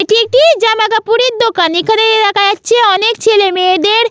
এটি একটি-ই জামাকাপড়ের দোকান এখানে দেখা যাচ্ছে অনেক ছেলে মেয়েদের--